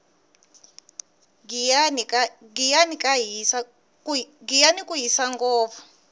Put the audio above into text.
giyani ku hisa ngopfu